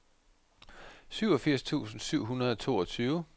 syvogfirs tusind syv hundrede og toogtyve